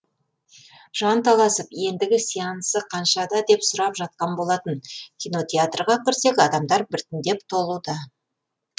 жанталасып ендігі сеансы қаншада деп сұрап жатқан болатын кинотеатрға кірсек адамдар бірітіндеп толуда